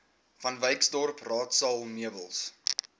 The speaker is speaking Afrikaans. vanwyksdorp raadsaal meubels